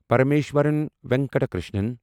Parameshwaran Venkata Krishnan